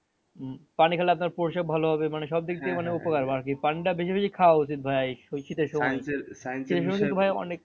পানি খাইলে আপনার প্রসাব ভালো হবে মানে আরকি পানিটা বেশি বেশি খাওয়া উচিত ভাইয়া এই ওই